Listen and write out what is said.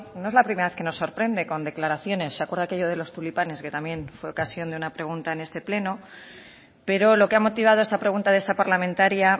no es la primera vez que nos sorprende con declaraciones se acuerda aquello de los tulipanes que también fue ocasión de una pregunta en este pleno pero lo que ha motivado esta pregunta de esta parlamentaria